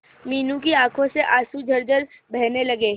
मीनू की आंखों से आंसू झरझर बहने लगे